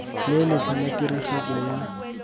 le letlha la tiragatso ya